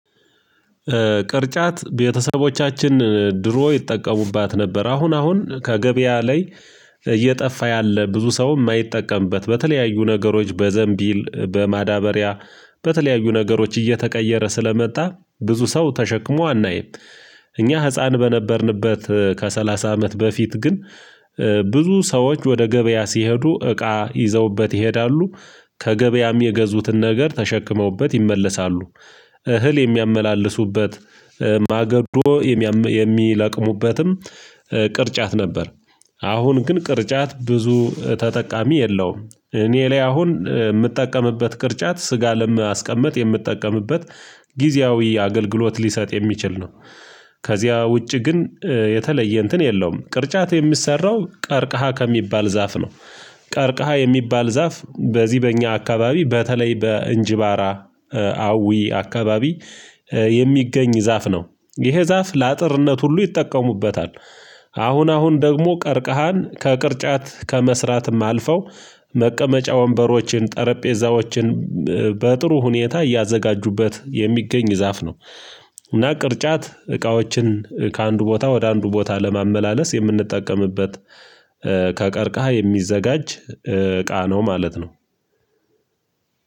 ቅርጫት ቤተሰቦቻችን ድሮ ይጠቀሙባት ነበር አሁን አሁን ከገበያ ላይ እየጠፋ ያለ ብዙ ሰው የማይጠቀምበት በተለያዩ ነገሮች በዘንቢል በማዳበሪያ በተለያዩ ነገሮች እየተቀየረ ስለመጣ ብዙ ሰው ተሸክሞ አናይም። እኛ ህፃን በነበርንበት ከሰላሳ አመት በፊት ግን። ብዙ ሰዎች ወደ ገበያ ሲሄዱ እቃ ይዘውበት ይሄዳሉ። ከገበያም የገዙትን ነገር ተሸክመውበት ይመለሳሉ። እህል የሚያመላልሱበት ማገዶ የሚለቅሙበትም ቅርጫት ነበር። አሁን ግን ቅርጫት ብዙ ተጠቃሚ የለውም እኔ ላይ አሁን የምጠቀምበት ቅርጫት ስጋ ለማስቀመጥ የምትጠቀምበት ጊዜያዊ አገልግሎት ሊሰጥ የሚችል ነው። ከዚያ ውጪ ግን የተለየ እንትን የለውም ቅርጫት የሚሰራው ቀርቅሃ ከሚባል ዛፍ ነው። ቀርቅሃ የሚባል ዛፍ በዚህ በእኛ አካባቢ በተለይ በእንጅባራ አዊ አካባቢ የሚገኝ ዛፍ ነው። ይሄ ዛፍ ለአጥርነት ሁሉ ይጠቀሙበታል። አሁን አሁን ደግሞ ቀርቀሃን ከቅርጫት ከመስራትም አልፈው መቀመጫ ወንበሮችን ጠረጴዛዎችን በጥሩ ሁኔታ እያዘጋጁበት የሚገኝ ዛፍ ነው። እና ቅርጫት እቃዎችን ከአንዱ ቦታ ወደ አንዱ ቦታ ለማመላለስ የምንጠቀምበት። ከቀርቃሃ የሚዘጋጅ እቃ ነው ማለት ነው።